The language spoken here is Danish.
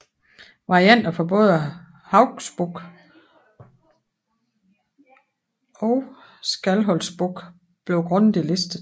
Varianter fra både Hauksbók pg Skálholtsbók bliver grundigt listet